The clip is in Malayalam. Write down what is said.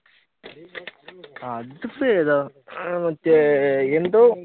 അതിപ്പയേതാ മറ്റേ എന്തോ